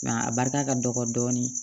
Nka a barika ka dɔgɔ dɔɔnin